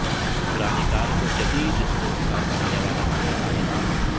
پرانی کار کو جدید سپورٹس کار بنانے والا پاکستانی نوجوان